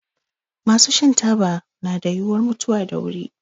Masu shan taba na da yiwuwar mutuwa da wuri.